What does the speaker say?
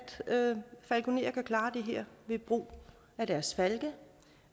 falkonerer kan klare det her ved brug af deres falke